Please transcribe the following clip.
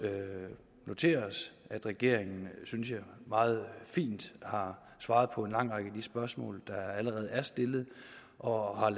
noteret os at regeringen synes jeg meget fint har svaret på en lang række af de spørgsmål der allerede er stillet og har